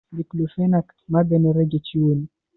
Diclofenac magannin rage ciwo ne.